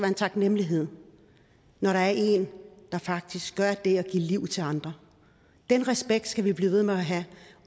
en taknemmelighed når der er en der faktisk giver liv til andre den respekt skal vi blive ved med at have